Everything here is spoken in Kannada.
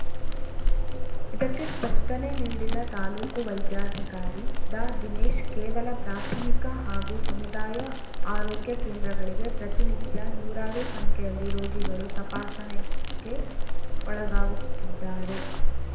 ಇದಕ್ಕೆ ಸ್ಪಷ್ಟನೆ ನೀಡಿದ ತಾಲೂಕು ವೈದ್ಯಾಧಿಕಾರಿ ಡಾ ದಿನೇಶ್‌ ಕೆಲ ಪ್ರಾಥಮಿಕ ಹಾಗೂ ಸಮುದಾಯ ಆರೋಗ್ಯ ಕೇಂದ್ರಗಳಿಗೆ ಪ್ರತಿನಿತ್ಯ ನೂರಾರು ಸಂಖ್ಯೆಯಲ್ಲಿ ರೋಗಿಗಳು ತಪಾಸಣೆಗೆ ಒಳಗಾಗುತ್ತಿದ್ದಾರೆ